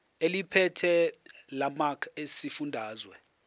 eliphethe lamarcl esifundazwe